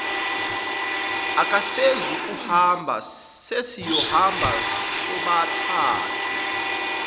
akasezukuhamba sesiyohamba sobathathu